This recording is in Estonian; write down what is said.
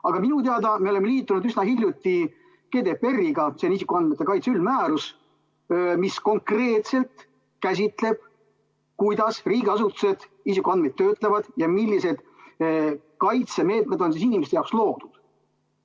Aga minu teada me oleme liitunud üsna hiljuti GDPR-iga, see on isikuandmete kaitse üldmäärus, mis konkreetselt määratleb, kuidas riigiasutused isikuandmeid töötlevad ja millised kaitsemeetmed on inimeste jaoks loodud.